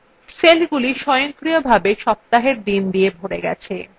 সেলগুলি স্বয়ংক্রিয়ভাবে সপ্তাহের the দিয়ে ভরে গেছে